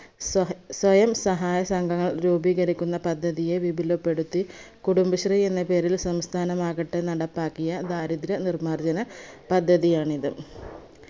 സഹ സ്വയം സഹായ സംഘടന രൂപീകരിക്കുന്ന പദ്ധതിയെ വിപുലപ്പെടുത്തി കുടുംബശ്രീ എന്ന പേരിൽ സംസഥാനമാകട്ടെ നടപ്പാക്കിയ ദാരിദ്ര നിർമാർജന പദ്ധതിയാണിത്.